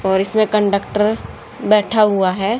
और इसमें कंडक्टर बैठा हुआ है।